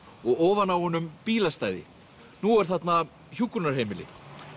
og ofan á honum bílastæði nú er þarna hjúkrunarheimili